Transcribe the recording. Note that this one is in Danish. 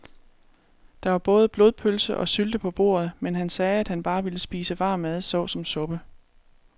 Der var både blodpølse og sylte på bordet, men han sagde, at han bare ville spise varm mad såsom suppe.